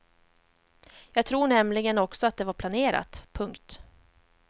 Jag tror nämligen också att det var planerat. punkt